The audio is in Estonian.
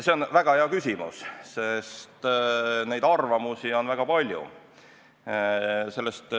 See on väga hea küsimus, sest neid arvamusi on väga palju.